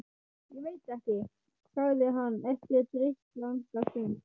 Ég veit ekki. sagði hann eftir drykklanga stund.